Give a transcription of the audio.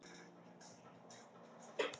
Þessa sögu þarf að skrifa.